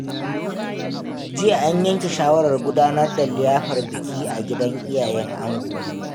Jiya, an yanke shawarar gudanar da liyafar biki a gidan iyayen ango.